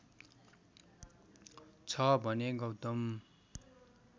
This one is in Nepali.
छ भने गौतम